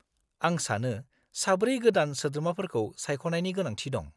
-आं सानो साब्रै गोदान सोद्रोमाफोरखौ सायख'नायनि गोनांथि दं।